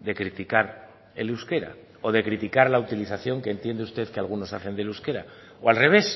de criticar el euskera o de criticar la utilización que entiende usted que algunos hacen del euskera o al revés